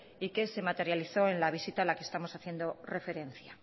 y que se materializó en la visita en la que estamos haciendo referencia